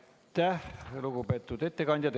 Aitäh, lugupeetud ettekandja!